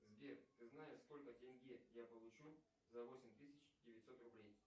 сбер ты знаешь сколько тенге я получу за восемь тысяч девятьсот рублей